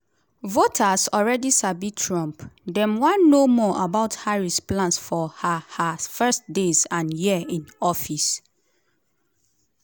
"voters alreadi sabi trump; dem wan know more about harris plans for her her first days and year in office."